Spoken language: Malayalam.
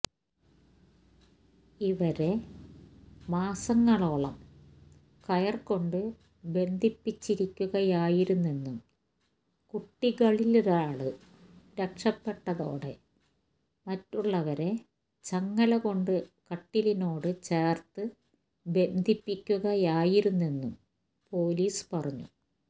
ഇവരെ മാസങ്ങളോളം കയര് കൊണ്ട് ബന്ധിപ്പിച്ചിരിക്കുകയായിരുന്നെന്നും കുട്ടികളിലൊരാള് രക്ഷപ്പെട്ടതോടെ മറ്റുള്ളവരെ ചങ്ങലകൊണ്ട് കട്ടിലിനോട് ചേര്ത്ത് ബന്ധിപ്പിക്കുകയായിരുന്നെന്നും പൊലീസ് പറഞ്ഞു